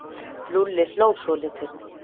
Lúlli hló svolítið.